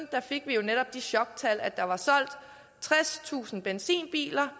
fik vi jo netop de choktal at der var solgt tredstusind benzinbiler